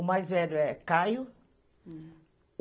O mais velho é Caio.